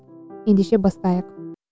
ендеше бастайық